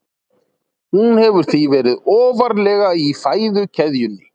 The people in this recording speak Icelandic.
Hún hefur því verið ofarlega í fæðukeðjunni.